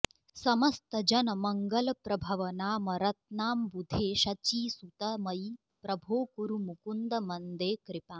समस्तजनमङ्गलप्रभवनामरत्नाम्बुधे शचीसुत मयि प्रभो कुरु मुकुन्द मन्दे कृपाम्